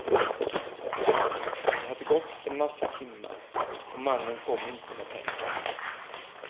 Det hade gått en massa timmar och mannen kom inte med pengarna.